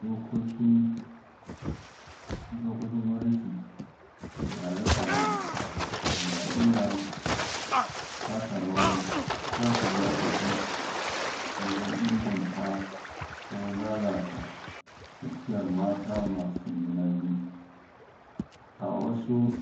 Dokoki dokokin gwamnati da tsare-tsare na iya taka rawar taka rawa sosai wajen inganta ko lalata tafiyar mata masu juna biyu a wasu